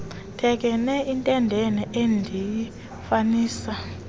thekenee entendeni endiyifanisa